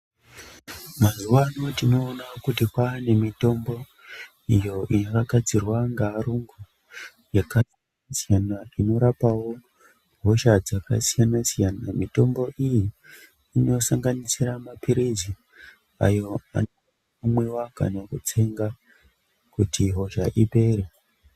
Mazuwa ano tinona kuti kwane mitombo iyo inogadzirwa ngearungu yakasiyana inorapawo hosha dzakasiyana-siyana. Mitombo iyi inosanganisira maphirizi ayo anomwiwa kana kutsenga kuti hosha ipere.